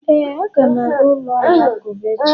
Éè, a ga m aga ụlọ alakụba echi